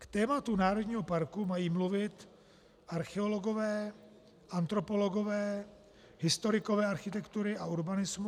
K tématu národního parku mají mluvit archeologové, antropologové, historikové architektury a urbanismu.